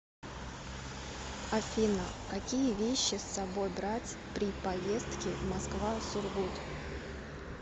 афина какие вещи с собой брать при поездки москва сургут